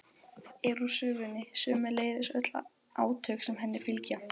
er úr sögunni, sömuleiðis öll átök sem henni fylgja.